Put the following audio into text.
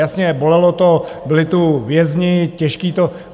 Jasně, bolelo to, byli tu vězni, těžký to...